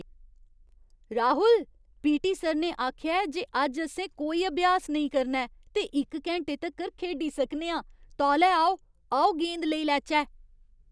Rahul! PT. Sir ने आखेआ ऐ जे अज्ज असें कोई अभ्यास नेईं करना ऐ ते इक घैंटे तक्कर खेढी सकने आं! तौले आओ, आओ गेंद लेई लैचै!